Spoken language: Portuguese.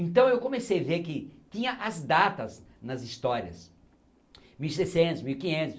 Então, eu comecei a ver que tinha as datas nas histórias. mil e seiscentos mil e quinhetos